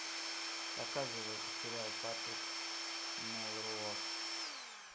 показывай сериал патрик мелроуз